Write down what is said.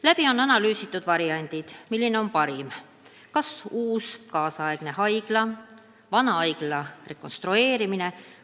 Läbi on analüüsitud variandid, milline lahendus on parim: kas uus moodne haigla või vana haigla rekonstrueerimine.